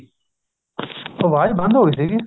ਆਵਾਜ ਬੰਦ ਹੋ ਗਈ ਸੀਗੀ